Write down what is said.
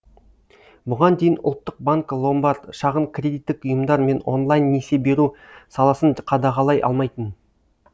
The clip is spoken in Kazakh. бұған дейін ұлттық банк ломбард шағын кредиттік ұйымдар мен онлайн несие беру саласын қадағалай алмайтын